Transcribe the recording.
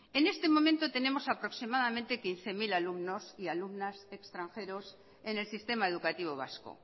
en este momento tenemos aproximadamente quince mil alumnos y alumnas extranjeros en el sistema educativo vasco